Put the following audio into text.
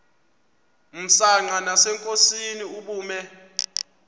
msanqa nasenkosini ubume